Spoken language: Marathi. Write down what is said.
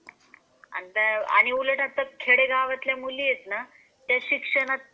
हो ना. आणि उलट आता खेडेगावातल्या मुली आहेत ना त्या शिक्षणात